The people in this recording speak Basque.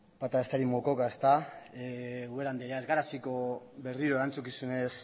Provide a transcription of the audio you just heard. bata besteari mokoka ezta ubera andrea ez gera hasiko berriro erantzukizunez